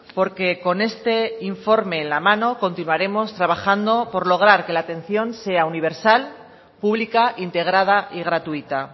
porque con este informe en la mano continuaremos trabajando por lograr que la atención sea universal pública integrada y gratuita